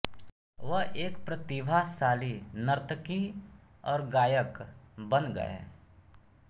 वह एक प्रतिभाशाली नर्तकी और गायक बन गए